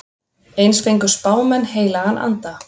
Eins fengu spámenn heilagan anda.